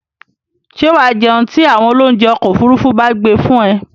Ṣé wà á jẹun tí àwọn oloúnjẹ́ ọkọ-òfurufú bá gbé fún ẹ?